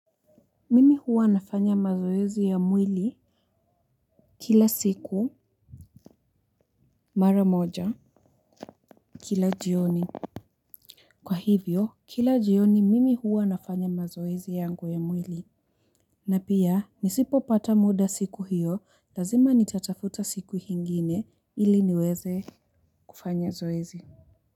Mimi huwa nafanya mazoezi ya mwili kila siku mara moja kila jioni. Kwa hivyo, kila jioni mimi huwa nafanya mazoezi yangu ya mwili. Na pia, nisipopata muda siku hiyo lazima nitatafuta siku ingine ili niweze kufanya zoezi.